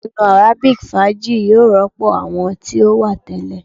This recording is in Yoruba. Iyanu arabic faaji yoo rọpo awọn ti o wa tẹlẹ